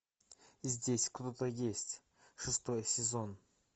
здесь кто то есть шестой сезон